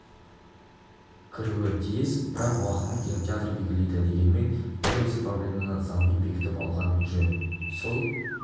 кіруі тиіс бірақ уақытын кинотеатр белгілейді дегенмен дәл осы проблеманы заңмен бекітіп алған жөн сол